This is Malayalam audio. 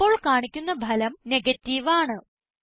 ഇപ്പോൾ കാണിക്കുന്ന ഫലം നെഗേറ്റീവ് ആണ്